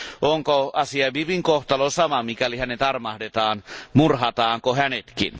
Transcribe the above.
Onko Asia Bibin kohtalo sama, jos hänet armahdetaan, murhataanko hänetkin?